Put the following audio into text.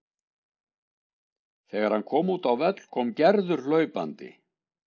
Þegar hann kom út á völl kom Gerður hlaupandi.